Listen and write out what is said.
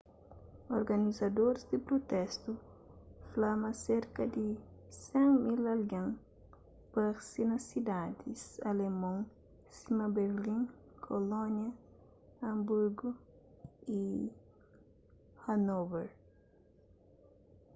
organizadoris di prutestu fla ma serka di 100.000 algen parse na sidadis alemon sima berlin kolónia hanburgu y hanôver